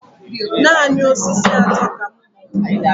Naanị osisi atọ ka m hụrụ.